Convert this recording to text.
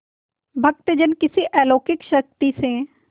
भक्तजन किसी अलौकिक शक्ति से